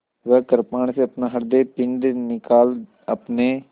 वह कृपाण से अपना हृदयपिंड निकाल अपने